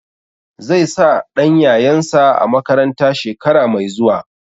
Zai sa ɗan yayansa a makaranta shekara mai zuwa.